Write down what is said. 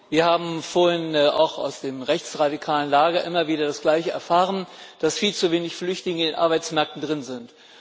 Wir haben vorhin auch aus dem rechtsradikalen Lager immer wieder das Gleiche erfahren, dass viel zu wenige Flüchtlinge in den Arbeitsmärkten drin sind.